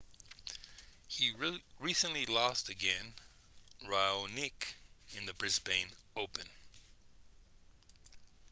he recently lost against raonic in the brisbane open